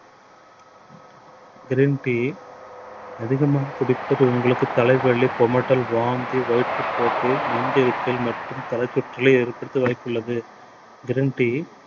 green tea அதிகமாக குடிப்பது உங்களுக்கு தலைவலி, குமட்டல், வாந்தி, வயிற்று போக்கு நெஞ்ஜெரிச்சல் மற்றும் தலைசுற்றலை ஏற்படுத்த வாய்ப்புள்ளது green tea